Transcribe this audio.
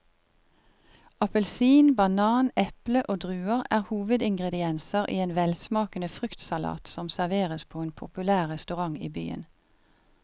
Appelsin, banan, eple og druer er hovedingredienser i en velsmakende fruktsalat som serveres på en populær restaurant i byen.